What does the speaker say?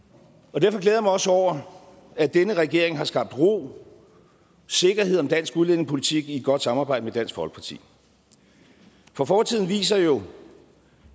derfor glæder jeg mig også over at denne regering har skabt ro sikkerhed om dansk udlændingepolitik i et godt samarbejde med dansk folkeparti for fortiden viser jo